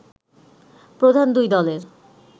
প্রধান দুই দলের